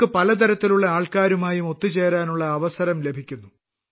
അവർക്ക് പലതരത്തിലുള്ള ആൾക്കാരുമായും ഒത്തുചേരാനുള്ള അവസം ലഭിക്കുന്നു